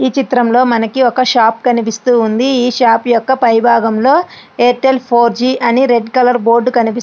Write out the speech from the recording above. ఈ చిత్రంలో మనకి ఒక షాపు కనిపిస్తూ ఉంది . ఈ షాప్ యొక్క పై భాగంలో ఎయిర్టెల్ ఫోర్జి అని రెడ్ కలర్ బోర్డు కనిపిస్తు--